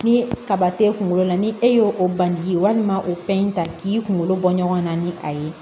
Ni kaba t'e kunkolo la ni e y'o o bange ye walima o fɛn in ta k'i kungolo bɔ ɲɔgɔn na ni a ye